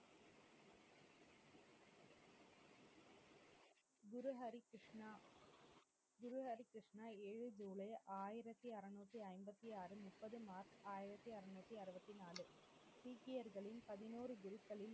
குரு ஹரி கிருஷ்ணா குரு ஹரி கிருஷ்ணா ஏழு ஜூலை ஆயிரத்தி அறுநூத்தி ஐம்பத்தி ஆறு முப்பது மார்ச் ஆயிரத்தி அறுநூத்தி அறுபத்தி நாலு சீக்கியர்களின் பதினோரு குருக்களில்